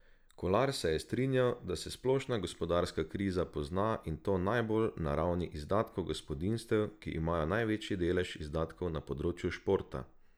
Kolar se je strinjal, da se splošna gospodarska kriza pozna in to najbolj na ravni izdatkov gospodinjstev, ki imajo največji delež izdatkov na področju športa.